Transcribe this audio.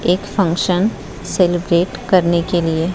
एक function celebrate करने के लिए--